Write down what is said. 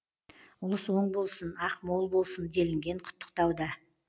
ұлыс оң болсын ақ мол болсын делінген құттықтауда